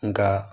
Nka